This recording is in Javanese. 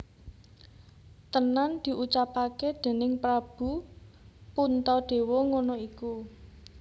Tenan diucapake déning Prabu Puntadewa ngono iku